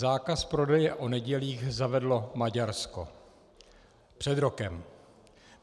Zákaz prodeje o nedělích zavedlo Maďarsko před rokem.